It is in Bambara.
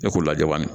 E ko lajabali